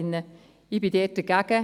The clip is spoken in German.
da bin ich dagegen.